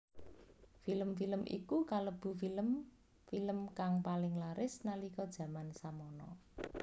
Film film iku kalebu film film kang paling laris nalika jaman samana